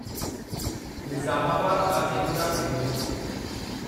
Nizamabad Kacheguda DEMU